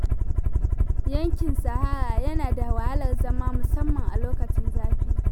Yankin sahara yana da wahalar zama, musamman a lokacin zafi.